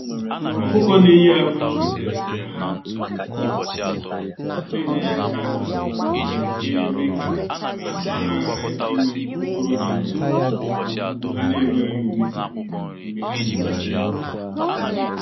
Ọkụkọ na eye akwa kwesịrị ka ha na enye ya Kalsiọm, ga eme ka akwa ha ghara inwe okpokoro dị nro, na okpukpu ha na enweghị ume, mgbe ha na eye akwa.